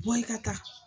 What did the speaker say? Bɔ i ka taa